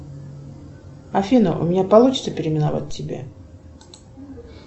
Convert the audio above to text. афина у меня получится переименовать тебя